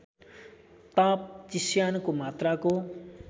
ताप चिस्यानको मात्राको